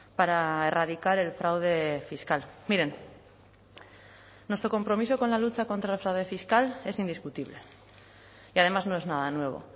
para erradicar el fraude fiscal miren nuestro compromiso con la lucha contra el fraude fiscal es indiscutible y además no es nada nuevo